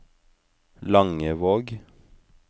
Langevåg